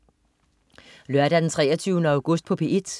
Lørdag den 23. august - P1: